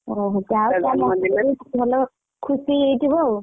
ଓହୋ ତା ଭଲ ଖୁସି ହେଇଯାଇଥିବ ଆଉ?